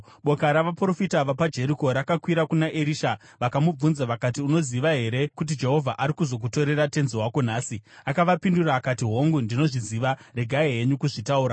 Boka ravaprofita vapaJeriko rakakwira kuna Erisha vakamubvunza vakati, “Unoziva here kuti Jehovha ari kuzokutorera tenzi wako nhasi?” Akavapindura akati, “Hongu, ndinozviziva, regai henyu kuzvitaura.”